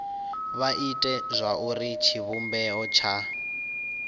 vha ite zwauri tshivhumbeo tsha